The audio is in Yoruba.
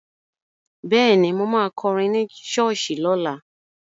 Bẹ́ẹ̀ni, mo ma kọrin ní ṣọ́ọ̀ṣì lọ́la